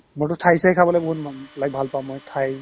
মোৰতো থাই-চাই খাবলৈ বহুত মন বেলেগ ভাল পাও মই থাই